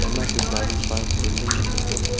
emma chu gari park kori le ngan le taile.